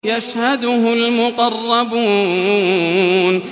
يَشْهَدُهُ الْمُقَرَّبُونَ